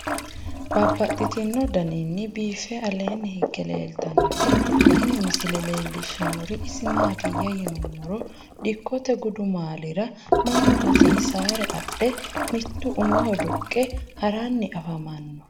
Babaxxittinno daninni biiffe aleenni hige leelittannotti tinni misile lelishshanori isi maattiya yinummoro dikkotte gudummaallira mannu hasiisisire adhe, mittu umoho duqqe haranni affammanno